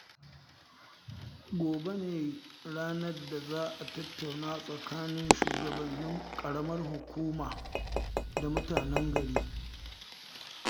Gobe ne ranar da za a tattauna tsakanin shugabannin ƙaramar hukuma da mutanen gari